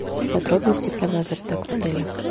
подробности про лазертаг в отеле